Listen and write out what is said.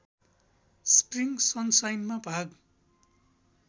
spring सनसाइनमा भाग